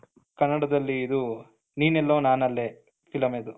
ಕನ್ನಡದಲ್ಲಿ ಇದು ನೀನೆಲ್ಲೋ ನಾನೆಲ್ಲೋ film ಇದು,